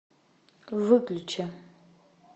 выключи